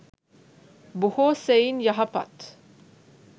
බොහෝ සෙයින් යහපත්